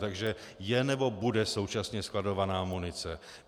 Takže je nebo bude současně skladována munice.